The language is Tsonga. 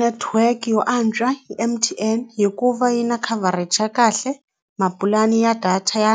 Network yo antswa i M_T_N hikuva yi na covered xa kahle na mapulani ya data ya